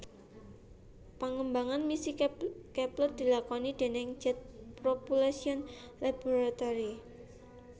Pengembangan misi Kepler dilakoni déning Jet Propulsion Laboratory